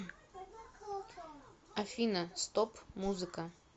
афина стоп музыка